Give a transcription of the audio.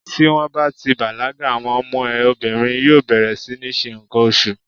Tí wón bá ti bàlágà, àwọn ọmọ ẹ obìnrin yóò bẹ̀rẹ̀ sí ní ṣe ǹkan oṣù.